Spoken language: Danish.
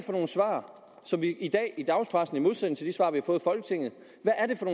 nogle svar som vi i dag i dagspressen i modsætning til de